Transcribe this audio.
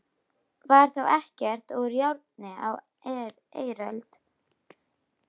Var þá ekkert úr járni á eiröld?